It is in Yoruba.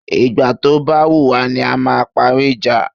Ìgbà tó ba wùwá ni a máa parí ìjà